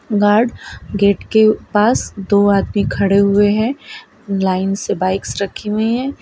Guard gate के पास दो आदमी खड़े हुए हैं लाइन से बाइक्स रखी हुई है।